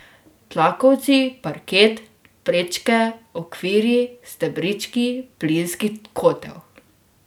Tlakovci, parket, prečke, okvirji, stebrički, plinski kotel.